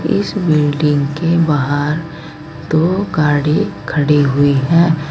इस बिल्डिंग के बाहर दो गाड़ी खड़ी हुई है।